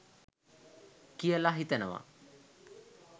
කියල හිතනවා.